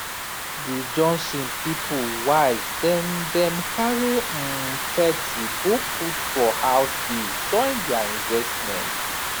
di johnson people wise dem dem carry um thirty go put for house biz join their investment